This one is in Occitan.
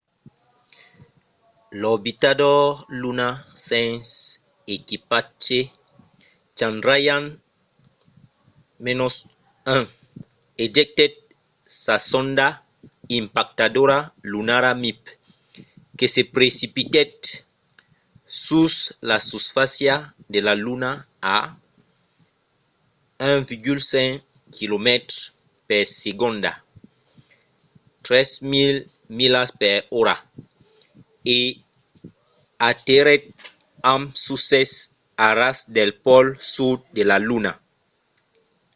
l’orbitador lunar sens equipatge chandrayaan-1 ejectèt sa sonda impactadora lunara mip que se precipitèt sus la susfàcia de la luna a 1,5 quilomètres per segonda 3 000 milas per ora e aterrèt amb succès a ras del pòl sud de la luna